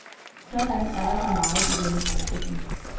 Sådan er der så meget i denne forestilling.